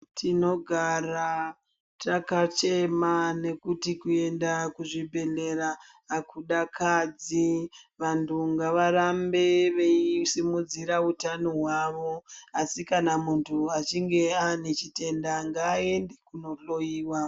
Tinogara takachema nekuti kuenda kuzvibhedhlera akudakadzi ,vantu ngavarambe veisimudzira utano hwavo ,asi kana muntu achinge anechitenda ngaende kundohloyiwa.